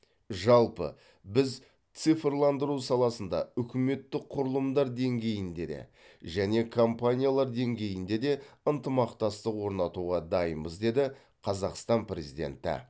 жалпы біз цифрландыру саласында үкіметтік құрылымдар деңгейінде де жеке компаниялар деңгейінде де ынтымақтастық орнатуға дайынбыз деді қазақстан президенті